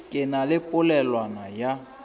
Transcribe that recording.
ke na le polelwana ya